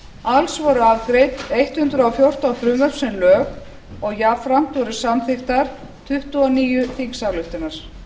alls voru afgreidd hundrað og fjórtán frumvörp sem lög og jafnframt voru samþykktar tuttugu og níu þingsályktanir